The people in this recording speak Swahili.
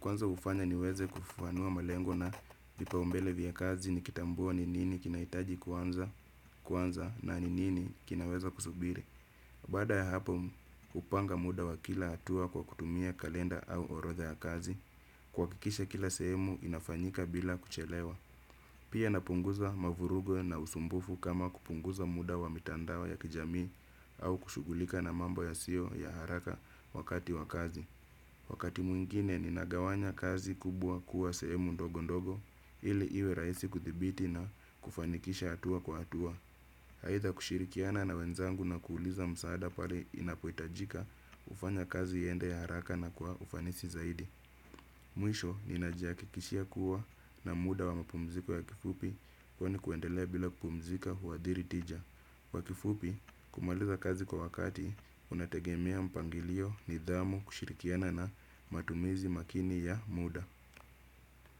Kwanza ufanya niweze kufuanua malengo na vipaumbele vya kazi nikitambua ni nini kinaitaji kuanza na ni nini kinaweza kusubiri. Baada ya hapo upanga muda wa kila atua kwa kutumia kalenda au orodha ya kazi. Kuhakikisha kila sehemu inafanyika bila kuchelewa. Pia napunguza mavurugo na usumbufu kama kupunguza muda wa mitandao ya kijamii au kushugulika na mambo yasio ya haraka wakati wakazi. Wakati mwingine ninagawanya kazi kubwa kuwa sehemu ndogo ndogo ili iwe raisi kuthibiti na kufanikisha atua kwa atua. Aitha kushirikiana na wenzangu na kuuliza msaada pali inapoitajika ufanya kazi iende haraka na kwa ufanisi zaidi. Mwisho nina jihakikishia kuwa na muda wa mapumziko ya kifupi kwa ni kuendelea bila kupumzika huadhiri tija. Kwa kifupi kumaliza kazi kwa wakati unategemea mpangilio nidhamu kushirikiana na matumizi makini ya muda.